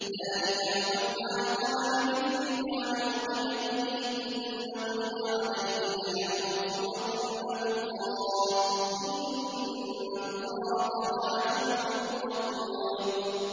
۞ ذَٰلِكَ وَمَنْ عَاقَبَ بِمِثْلِ مَا عُوقِبَ بِهِ ثُمَّ بُغِيَ عَلَيْهِ لَيَنصُرَنَّهُ اللَّهُ ۗ إِنَّ اللَّهَ لَعَفُوٌّ غَفُورٌ